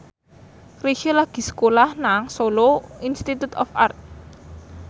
Chrisye lagi sekolah nang Solo Institute of Art